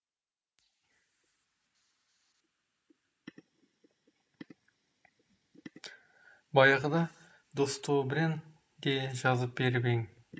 баяғыда достобрен де жазып беріп ең